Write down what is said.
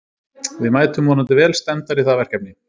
Við mætum vonandi vel stemmdar í það verkefni.